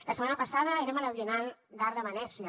la setmana passada érem a la biennal d’art de venècia